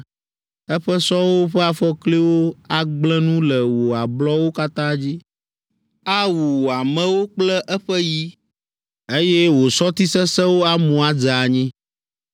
Eƒe sɔwo ƒe afɔkliwo agblẽ nu le wò ablɔwo katã dzi, awu wò amewo kple eƒe yi, eye wò sɔti sesẽwo amu adze anyi.